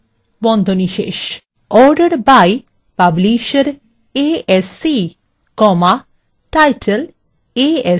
order by publisher asc title asc